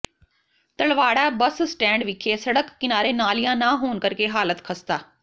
Talwara bus stand ਵਿਖੇ ਸੜਕ ਕਿਨਾਰੇ ਨਾਲੀਆਂ ਨਾ ਹੋਣ ਕਰਕੇ ਹਾਲਤ ਖਸਤਾ